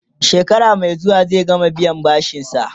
shekara Mai zuwa zai gama biyan bashinsa